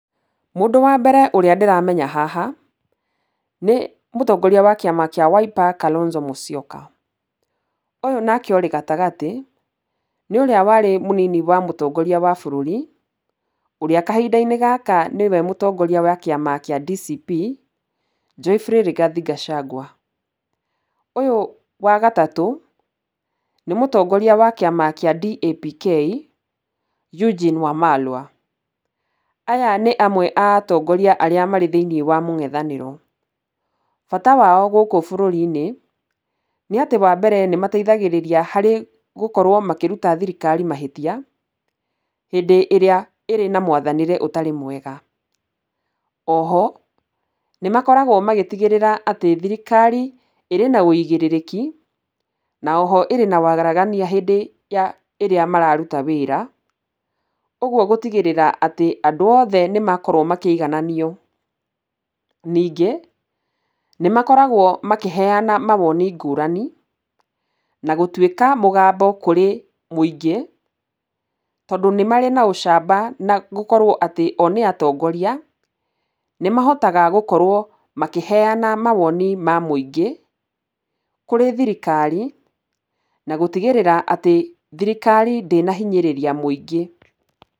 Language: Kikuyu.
Mũndũ wa mbere ũrĩa ndĩramenya haha, nĩ mũtongoria wa kĩama kĩa Wiper, Kalonzo Musyoka. Ũyũ nake ũrĩ gatagatĩ nĩ ũrĩa warĩ mũnini wa mũtongoria wa bũrũri, ũrĩa kahinda-inĩ gaka nĩwe mũtongoria wa kĩama kĩa DCP, Geoffrey Rigathi Gacagua. Ũyũ wa gatatũ nĩ mũtongoria wa kĩama kĩa DAPK, Eugene Wamalwa. Aya nĩ amwe a atongoria arĩa me thĩinĩ wa mũngethanĩro. Bata wao gũkũ bũrũri-inĩ, nĩ atĩ wa mbere nĩ mateithagĩrĩria gũkorwo makĩruta thirikari mahĩtia hĩndĩ ĩrĩa ĩrĩ na mwathanĩre ũtarĩ mwega. Oho, nĩ makoragwo magĩtigĩrĩra atĩ thirikari ĩrĩ na ũigĩrĩrĩki na oho ĩrĩ na wagaragania hĩndĩ ya ĩrĩa mararuta wĩra. Ũguo gũtigĩrĩra atĩ andũ othe nĩ makorwo makĩigananio. Ningĩ nĩ makoragwo makĩheana mawoni ngũrani, na gũtuĩka mũgambo kũrĩ mũingĩ tondũ nĩ marĩ na ũcamba na gũkorwo atĩ o nĩ atongoria. Nĩ mahotaga gũkorwo makĩheana mawoni ma mũingĩ, kũrĩ thirikari na gũtigĩrĩra atĩ thirikari ndĩnahinyĩrĩria mũingĩ.